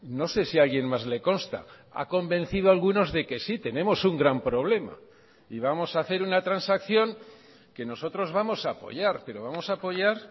no sé si a alguien más le consta ha convencido algunos de que sí tenemos un gran problema y vamos a hacer una transacción que nosotros vamos a apoyar pero vamos a apoyar